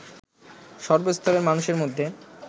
সর্বস্তরের মানুষের মধ্যে